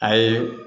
A ye